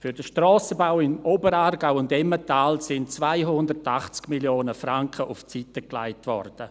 Für den Strassenbau im Oberaargau und Emmental wurden 280 Mio. Franken auf die Seite gelegt.